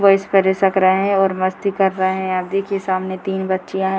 वो इसपर इसक रहे हैं और मस्ती कर रहे हैंआप देखिए सामने तीन बच्चियां हैं।